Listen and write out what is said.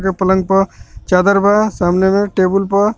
पलंग पर चादर बा सामने में टेबुल प.